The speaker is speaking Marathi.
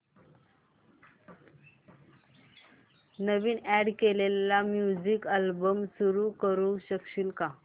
नवीन अॅड केलेला म्युझिक अल्बम सुरू करू शकशील का